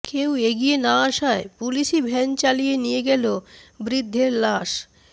কেউ এগিয়ে না আসায় পুলিশই ভ্যান চালিয়ে নিয়ে গেল বৃদ্ধের লাশ